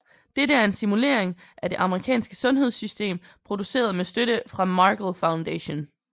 Det er en simulering af det amerikanske sundhedssystem produceret med støtte fra Markle Foundation